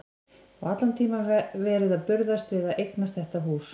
Og allan tímann verið að burðast við að eignast þetta hús.